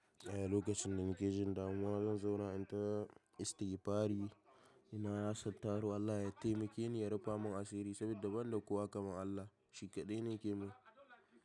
Eya lokacin da nike jin damuwa don zauna in ta istigfari, ina nasar taru Allah ya taimake ni ya rufe mun asiri saboda ban da kowa kamar Allah, shi kaɗai ne ke mun.